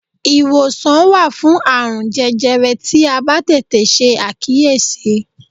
Iwosan wa fun aarun jẹjẹrẹ ti a ba tete se akiyesi